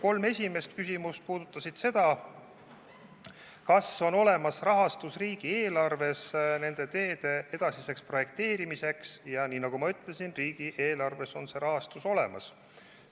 Kolm esimest küsimust puudutasid seda, kas riigieelarves on olemas raha teede edasiseks projekteerimiseks, ja nagu ma ütlesin, on riigieelarves see raha olemas.